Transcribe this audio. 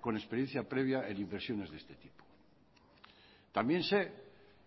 con experiencia previa en inversiones de este tipo también sé